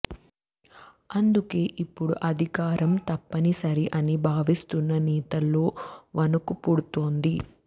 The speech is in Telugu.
అందుకే ఇప్పుడు అధికారం తప్పనిసరి అని బావిస్తున్న నేతల్లో వణుకు పుడుతోంది